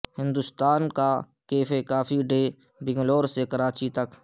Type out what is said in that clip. ہندوستان کا cafe coffee day Bangalore سے کراچی تک